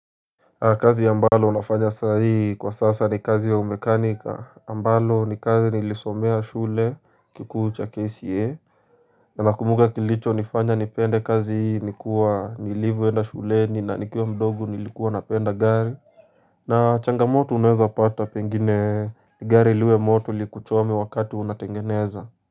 Kazi ya ambalo unafanya saa hii kwa sasa ni kazi ya umekanika ambalo ni kazi nilisomea shule kikuu cha KCA na nakumbuka kilicho nifanya nipende kazi hii nikuwa nilivwenda shuleni na nikiwa mdogu nilikuwa napenda gari na changamoto uneza pata pengine gari liwe moto likuchome wakati unatengeneza.